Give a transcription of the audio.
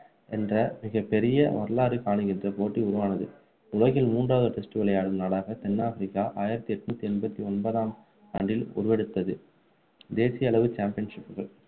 என்ற மிகப்பெரிய வரலாறு காணுகின்ற போட்டி உருவானது உலகில் மூன்றாவது test விளையாடும் நாடாக தென் ஆப்பிரிக்கா ஆயிரத்து எண்ணூற்று எண்பத்து ஒன்பதாம் ஆண்டில் உருவெடுத்தது தேசிய அளவு championship